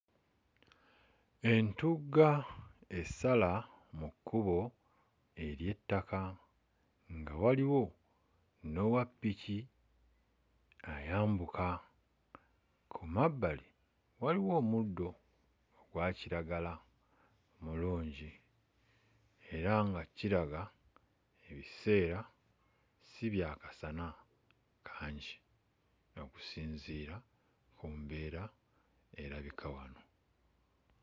Entugga esala mu kkubo ery'ettaka nga waliwo n'owa ppiki ayambuka. Ku mabbali waliwo omuddo ogwa kiragala mulungi era nga kiraga ebiseera si bya kasana kangi okusinziira ku mbeera erabika wano.